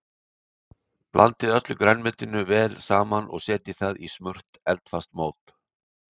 Blandið öllu grænmetinu vel saman og setjið það í smurt eldfast mót.